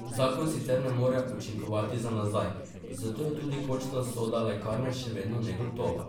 Zakon sicer ne more učinkovati za nazaj, zato je tudi končna usoda lekarne še vedno negotova.